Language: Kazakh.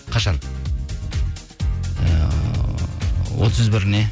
қашан ыыы отыз біріне